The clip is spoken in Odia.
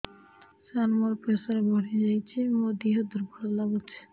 ସାର ମୋର ପ୍ରେସର ବଢ଼ିଯାଇଛି ମୋ ଦିହ ଦୁର୍ବଳ ଲାଗୁଚି